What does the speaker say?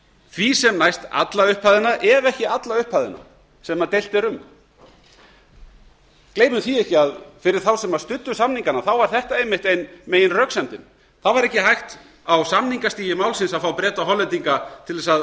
því sem næst alla upphæðina ef ekki alla upphæðina sem deilt er um gleymum því ekki að fyrir þá sem studdu samningana var þetta einmitt ein meginröksemdin það var ekki hægt á samningastigi málsins að fá breta og hollendinga til að